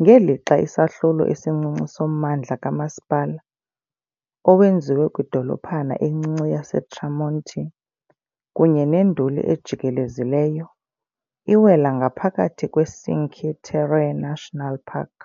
ngelixa isahlulo esincinci sommandla kamasipala, owenziwe kwidolophana encinci yaseTramonti kunye nenduli ejikelezileyo, iwela ngaphakathi kweCinque Terre National Park.